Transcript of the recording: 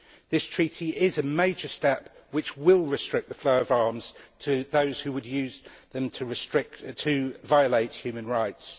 This Treaty is a major step which will restrict the flow of arms to those who would use them to violate human rights.